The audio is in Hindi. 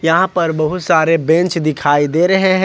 यहां पर बहुत सारे बेंच दिखाई दे रहे हैं ।